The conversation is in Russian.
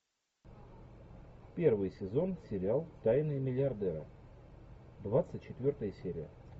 первый сезон сериал тайны миллиардера двадцать четвертая серия